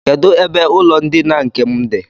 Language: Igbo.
Kedụ ebe ụlọndina nke m dị?